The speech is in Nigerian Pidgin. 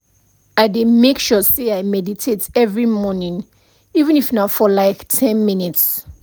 i dey make sure say i meditate every morning even if na for like ten minutes